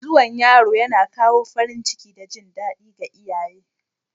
Zuwan yaro yana kawo farin ciki da jin daɗi ga iyaye